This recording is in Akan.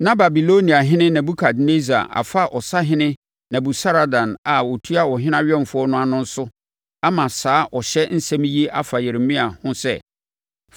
Na Babiloniahene Nebukadnessar afa ɔsahene Nebusaradan a ɔtua ɔhene awɛmfoɔ ano no so ama saa ɔhyɛ nsɛm yi a ɛfa Yeremia ho sɛ,